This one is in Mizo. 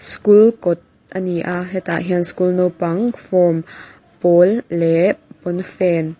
school kawt a ni a hetah hian school naupang form pawl leh pawnfen--